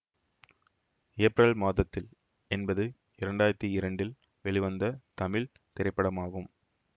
April மாதத்தில் என்பது இரண்டு ஆயிரத்தி இரண்டில் வெளிவந்த தமிழ் திரைப்படமாகும்